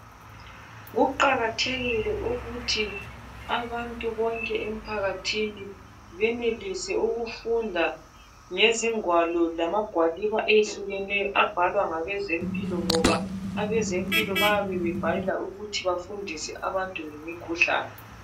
Kuqakathekile ukuthi abantu bonke emphakathini benelise ukufunda ngezingwalo lamagwaliba ehlukeneyo abhalwa ngabesempilo ngoba abezempilo bayabe bebhalela ukuthi bafundise abantu ngemikhuhlane.